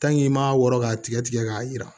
i m'a wɔrɔ k'a tigɛ tigɛ k'a yira